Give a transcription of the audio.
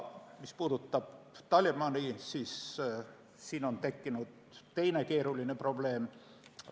Mis puudutab Talibani, siis on tekkinud teine keeruline probleem.